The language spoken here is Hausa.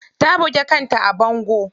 Ta buge kanta a bango.